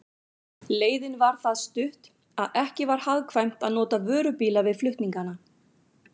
Leiðin var það stutt, að ekki var hagkvæmt að nota vörubíla við flutningana.